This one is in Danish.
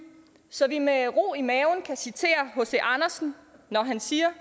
så vi med ro i maven kan citere hc andersen når han siger